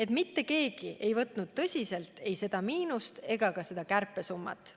Ja mitte keegi ei võtnud tõsiselt ei seda miinust ega ka seda kärpesummat.